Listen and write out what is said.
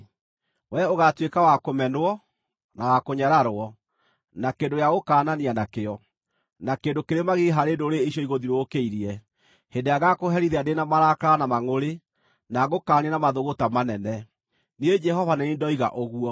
Wee ũgaatuĩka wa kũmenwo, na wa kũnyararwo, na kĩndũ gĩa gũkaanania nakĩo, na kĩndũ kĩrĩ magigi harĩ ndũrĩrĩ icio igũthiũrũrũkĩirie, hĩndĩ ĩrĩa ngaakũherithia ndĩ na marakara na mangʼũrĩ, na ngũkaanie na mathũgũta manene. Niĩ Jehova nĩ niĩ ndoiga ũguo.